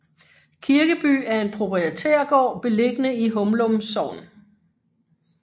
Kirkeby er en proprietærgård beliggende i Humlum Sogn